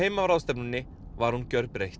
af ráðstefnunni var hún gjörbreytt